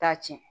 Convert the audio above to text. Taa ci